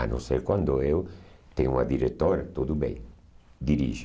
A não ser quando eu tenho uma diretora, tudo bem, dirija.